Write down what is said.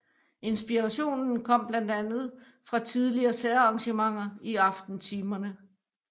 Inspirationen kom blandt andet fra tidligere særarrangementer i aftentimerne